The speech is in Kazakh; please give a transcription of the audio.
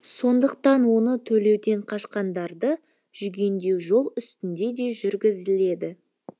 сондықтан оны төлеуден қашқандарды жүгендеу жол үстінде де жүргізіледі